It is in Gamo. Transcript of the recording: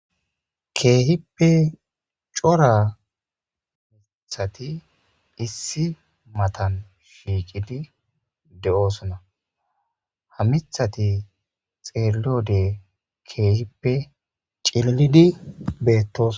keehippe cora mithati issi matan shiiqidi de7oosona hamithati xeeloode keehippe cillidi beettos